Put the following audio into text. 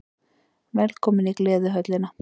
Velkomin í Gleðihöllina!